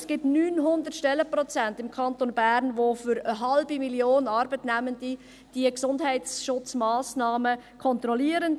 Es gibt im Kanton Bern 900 Stellenprozente, die für eine halbe Million Arbeitnehmende die Gesundheitsschutzmassnahmen kontrollieren.